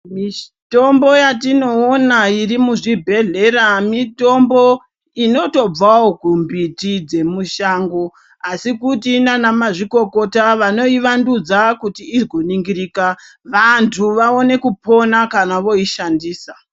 Mitombo yatino ona iri mu zvibhedhlera mitombo inoto bvawo ku mbiti dze mushango asi kuti nana mazvikokota vanoi wandudza kuti igo ningirika vantu vaone kupona kana voi shandisa.